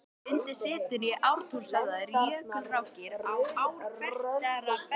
Undir setinu í Ártúnshöfða eru jökulrákir á ár-kvartera berginu.